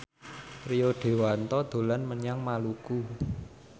Rio Dewanto dolan menyang Maluku